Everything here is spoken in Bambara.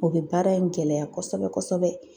O bɛ baara in gɛlɛya kosɛbɛ kosɛbɛ.